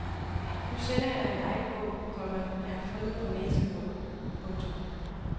Nu sender jeg dig en dejlig bog, komma jeg har fundet om næsehorn. punktum